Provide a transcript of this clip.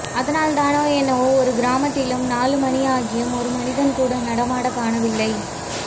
அதனால் தானோ என்னவோ ஒரு கிராமத்திலும் நாலு மணியாகியும் ஒரு மனிதன் கூட நடமாட காணவில்லை